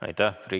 Aitäh!